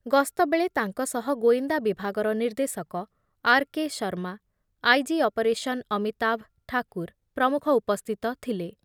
ଗସ୍ତ ବେଳେ ତାଙ୍କ ସହ ଗୋଇନ୍ଦା ବିଭାଗର ନିର୍ଦ୍ଦେଶକ R K Sharma, I G operation Amitabh Thakur ପ୍ରମୁଖ ଉପସ୍ଥିତ ଥିଲେ ।